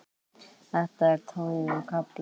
Þetta er tognun á kálfa.